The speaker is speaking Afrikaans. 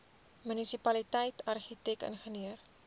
munisipaliteit argitek ingenieur